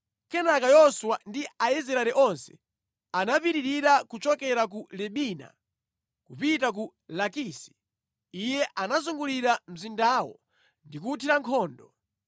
Kenaka Yoswa ndi Aisraeli onse anapitirira kuchokera ku Libina kupita ku Lakisi. Iye anazungulira mzindawo ndi kuwuthira nkhondo.